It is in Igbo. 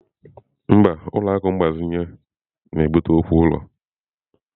Mba, ụlọ akụ mgbazinye na-ebute okwu ụlọ.